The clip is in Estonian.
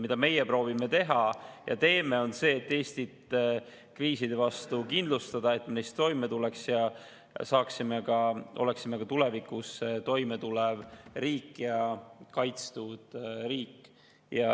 Mida meie proovime teha ja teeme, on see, et Eestit kriiside vastu kindlustada, et me neis toime tuleks ja oleksime ka tulevikus toime tulev riik ja kaitstud riik.